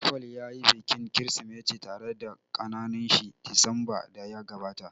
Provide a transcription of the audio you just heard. Paul ya yi bikin kirismeti tare da kakannin shi disamba da ya gabata